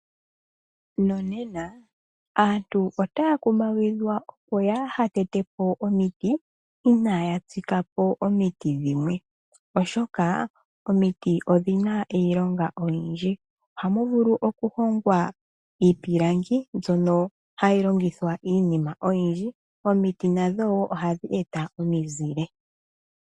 Nonena aantu otaya kumagidhwa, opo yaaha tete po omiti, inaaya tsika po omiti dhimwe, oshoka omiti odhina iilonga oyindji. Ohamu vulu oku hongwa iipilangi mbyono hayi longithwa iinima oyindji. Omiti nadho wo ohadhi e ta omizile.